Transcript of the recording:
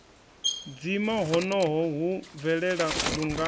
dzima honoho hu bvelela lungana